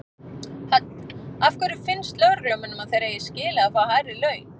Hödd: Af hverju finnst lögreglumönnum að þeir eigi skilið að fá hærri laun?